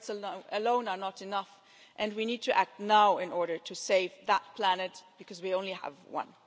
Words alone are not enough, and we need to act now in order to save that planet, because we only have one.